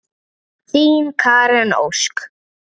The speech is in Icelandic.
Þín, Karen Ósk.